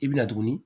I bi na tuguni